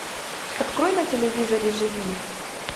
открой на телевизоре живи